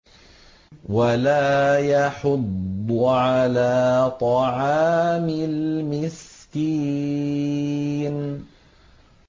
وَلَا يَحُضُّ عَلَىٰ طَعَامِ الْمِسْكِينِ